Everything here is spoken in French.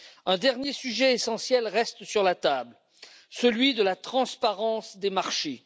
Un dernier sujet essentiel reste sur la table, celui de la transparence des marchés.